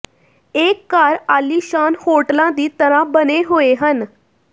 ਇਹ ਘਰ ਆਲੀਸ਼ਾਨ ਹੋਟਲਾਂ ਦੀ ਤਰ੍ਹਾਂ ਬਣੇ ਹੋਏ ਹਨ